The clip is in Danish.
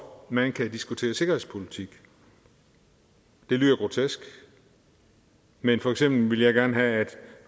man kan diskutere sikkerhedspolitik det lyder grotesk men for eksempel ville jeg gerne have at